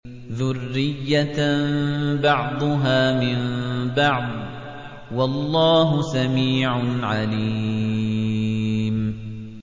ذُرِّيَّةً بَعْضُهَا مِن بَعْضٍ ۗ وَاللَّهُ سَمِيعٌ عَلِيمٌ